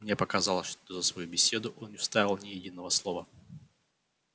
мне показалось что за свою беседу он не вставил ни единого слова